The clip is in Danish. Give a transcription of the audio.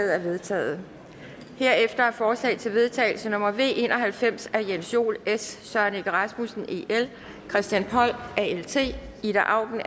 er vedtaget herefter er forslag til vedtagelse nummer v en og halvfems af jens joel søren egge rasmussen christian poll ida auken